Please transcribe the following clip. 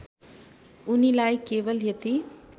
उनीलाई केवल यति